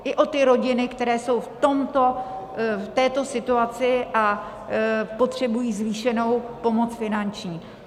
I o ty rodiny, které jsou v této situaci a potřebují zvýšenou pomoc finanční.